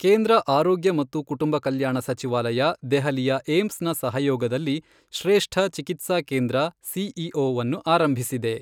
ಕೇಂದ್ರ ಆರೋಗ್ಯ ಮತ್ತು ಕುಟುಂಬ ಕಲ್ಯಾಣ ಸಚಿವಾಲಯ ದೆಹಲಿಯ ಏಮ್ಸ್ ನ ಸಹಯೋಗದಲ್ಲಿ ಶ್ರೇಷ್ಠ ಚಿಕಿತ್ಸಾ ಕೇಂದ್ರ ಸಿಒಇ ಅನ್ನು ಆರಂಭಿಸಿದೆ.